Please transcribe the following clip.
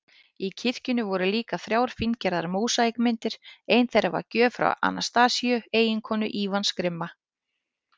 Í kirkjunni voru líka þrjár fíngerðar mósaíkmyndir, ein þeirra gjöf frá Anastasíu, eiginkonu Ívans grimma